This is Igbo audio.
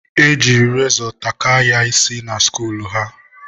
e jiri rezọ takaa ya isi na skuul ha.